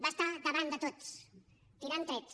va estar davant de tots tirant trets